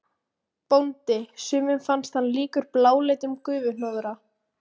BÓNDI: Sumum fannst hann líkur bláleitum gufuhnoðra.